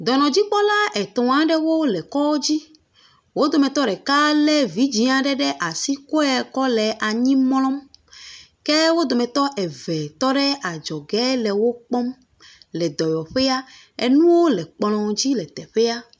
Dɔnɔdzikpɔla etɔ aɖewo le kɔdzi wodometɔ ɖeka lé vidzi aɖe ɖe asi kɔe kɔ le anyi mlɔm ke wodometɔ eve tɔɖe adzɔge le wokpɔm le dɔwɔyɔƒea nuwo le kplɔ dzi le dɔyɔƒea